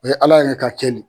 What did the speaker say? O ye Ala yɛrɛ ka kɛ le.